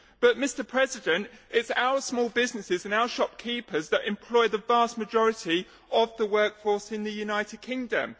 But, Mr President, it is our small businesses and our shopkeepers that employ the vast majority of the workforce in the United Kingdom.